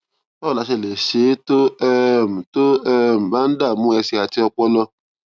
báwo la ṣe lè ṣe é tó um tó um bá ń dààmú ẹsè àti ọpọlọ